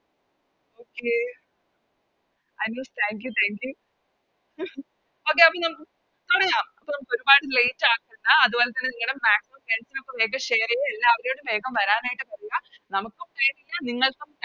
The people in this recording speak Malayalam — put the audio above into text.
Okay Thank you Okay നമുക്ക് പറയാം അപ്പൊ നമുക്കൊരുപാട് Late ആക്കേണ്ട അതുപോലെതന്നെ നിങ്ങടെ Maximum friends ന് ഒക്കെ വേഗം Share ചെയ്യാ എല്ലാവരോടും വേഗം വെരനായിറ്റ് പറയാ നമുക്കും Time ഇല്ല നിങ്ങൾക്കും